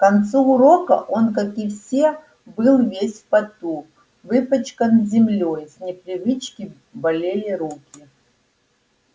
к концу урока он как и все был весь в поту выпачкан землёй с непривычки болели руки